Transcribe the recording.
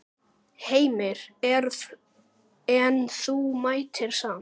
Heimir: En þú mættir samt?